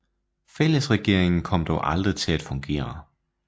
Fællesregeringen kom dog aldrig til at fungere